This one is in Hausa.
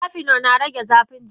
Cafenol na rage zafin jiki.